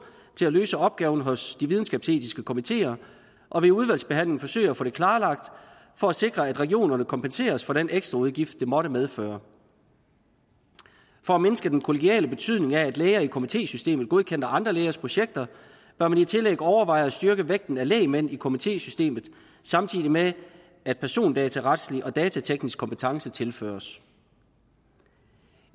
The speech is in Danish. til at løse opgaven hos de videnskabsetiske komiteer og ved udvalgsbehandlingen forsøge at få det klarlagt for at sikre at regionerne kompenseres for den ekstra udgift det måtte medføre for at mindske den kollegiale betydningen af at læger i komitésystemet godkender andre lægers projekter bør man i tillæg overveje at styrke vægten af lægmænd i komitésystemet samtidig med at persondataretslig og datateknisk kompetence tilføres